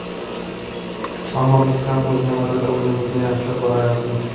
Ammo, biz ham o‘z navbatida o‘yinimizni yaxshilab boryapmiz.